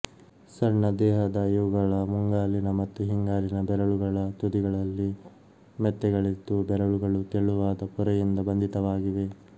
ಸಣ್ಣ ದೇಹದ ಇವುಗಳ ಮುಂಗಾಲಿನ ಮತ್ತು ಹಿಂಗಾಲಿನ ಬೆರಳುಗಳ ತುದಿಗಳಲ್ಲಿ ಮೆತ್ತೆಗಳಿದ್ದುಬೆರಳುಗಳು ತೆಳುವಾದ ಪೊರೆಯಿಂದ ಬಂಧಿತವಾಗಿವೆ